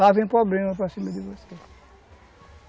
Lá vem problema para cima de você.